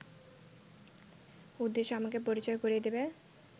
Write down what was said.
উদ্দেশ্য আমাকে পরিচয় করিয়ে দেবে